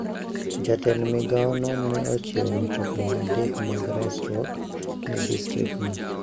Jatend migao no ne ochiwo mtokni adek mag resruok ne distriktno.